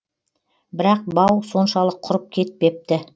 бірақ бау соншалық құрып кетпепті